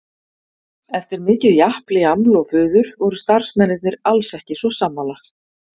Eftir mikið japl, jaml og fuður voru starfsmennirnir alls ekki svo sammála.